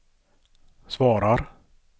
svarar